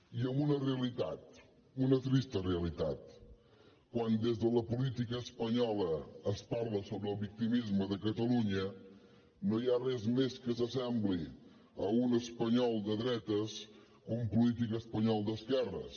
i amb una realitat una trista realitat quan des de la política espanyola es parla sobre el victimisme de catalunya no hi ha res més que s’assembli a un espanyol de dretes que un polític espanyol d’esquerres